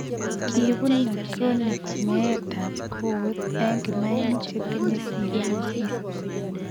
Kiibunen chronik meet ab kowet eng' kimainik chetinye cirrhosis